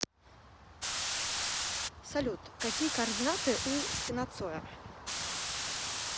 салют какие координаты у стена цоя